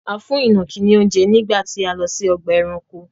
A fún ìnàkí ni oúnjẹ nígbà tí a lọ sí ọgbà-ẹranko.